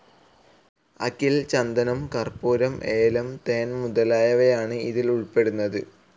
അകിൽ, ചന്ദനം, കർപ്പൂരം, ഏലം, ഹണി മുതലായവയാണ് ഇതിൽ ഉൾപ്പെടുന്നത്.